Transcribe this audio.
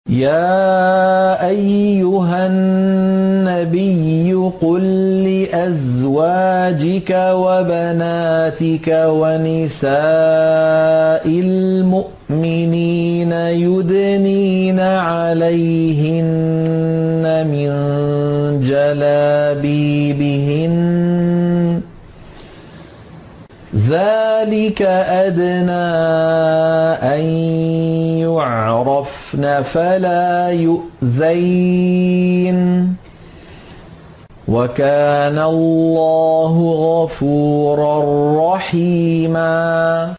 يَا أَيُّهَا النَّبِيُّ قُل لِّأَزْوَاجِكَ وَبَنَاتِكَ وَنِسَاءِ الْمُؤْمِنِينَ يُدْنِينَ عَلَيْهِنَّ مِن جَلَابِيبِهِنَّ ۚ ذَٰلِكَ أَدْنَىٰ أَن يُعْرَفْنَ فَلَا يُؤْذَيْنَ ۗ وَكَانَ اللَّهُ غَفُورًا رَّحِيمًا